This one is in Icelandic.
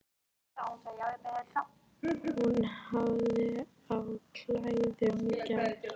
Hún hafði á klæðum í gær.